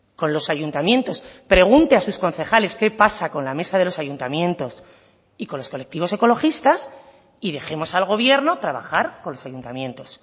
con los ayuntamientos pregunte a sus concejales qué pasa con la mesa de los ayuntamientos y con los colectivos ecologistas y dejemos al gobierno trabajar con los ayuntamientos